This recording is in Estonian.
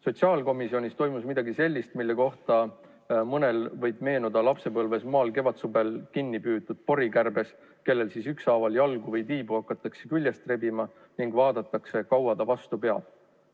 Sotsiaalkomisjonis toimus midagi sellist, millega seoses mõnel võib meenuda lapsepõlvest pilt kevadsuvel kinni püütud porikärbsest, kellel hakatakse ükshaaval jalgu või tiibu küljest rebima, vaadates, kui kaua ta vastu peab.